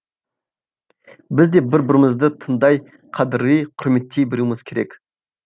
біз де бір бірімізді тыңдай қадірлей құрметтей білуіміз керек